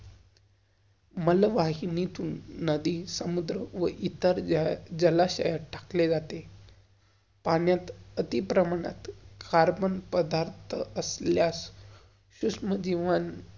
मळवाहिनीतुन नदी, समुद्रं, व इतर जल~जलाशयात टाकले जाते. पाण्यात आति प्रमाणात carbon पधार्थ असल्यास सुश्मदिवन.